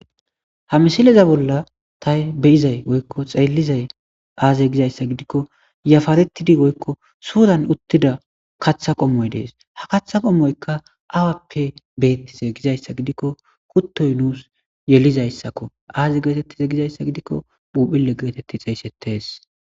Ha misileza bolla tay beyizay woykko xeellizay aaze gizayssa gidikko yafaretidi woykko suuran uttida katha qommoy dees. Ha katha qommoyka awappe beettise gizayssa gidikko kuttoy nuus yelizayssakko aaze geetettize gizayssa gidikko uphile geetetti xeeysettees.